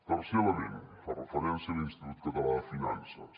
tercer element fa referència a l’institut català de finances